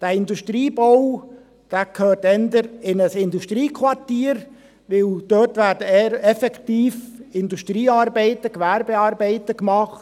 Dieser Industriebau gehört eher in ein Industriequartier, denn dort werden effektiv Industriearbeiten, Gewerbearbeiten gemacht.